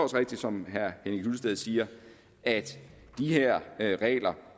rigtigt som herre henning hyllested siger at de her regler